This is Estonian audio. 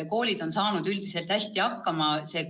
Koolid on üldiselt hästi hakkama saanud.